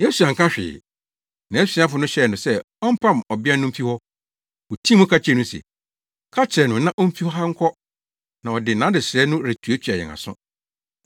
Yesu anka hwee. Nʼasuafo no hyɛɛ no sɛ ɔmpam ɔbea no mfi hɔ. Wotii mu ka kyerɛɛ no se, “Ka kyerɛ no na omfi ha nkɔ, na ɔde nʼadesrɛ no retuatua yɛn aso.”